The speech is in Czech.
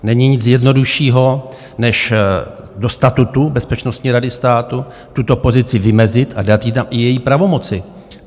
Není nic jednoduššího než do statutu Bezpečnostní rady státu tuto pozici vymezit a dát jí tam i její pravomoci.